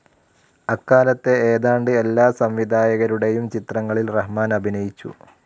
അക്കാലത്തെ ഏതാണ്ട് എല്ലാ സംവിധായകരുടെയും ചിത്രങ്ങളിൽ റഹ്മാൻ അഭിനയിച്ചു.